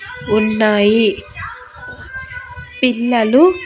ఉన్నాయి పిల్లలు--